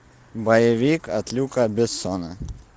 боевик от люка бессона